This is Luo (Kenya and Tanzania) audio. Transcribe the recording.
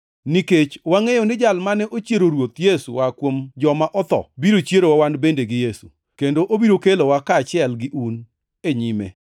nikech wangʼeyo ni Jal mane ochiero Ruoth Yesu oa kuom joma otho biro chierowa wan bende gi Yesu, kendo obiro kelowa kaachiel gi un, e nyime.